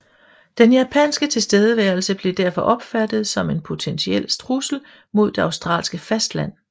Den japanske tilstedeværelse blev derfor opfattet som en potentiel trussel mod det australske fastland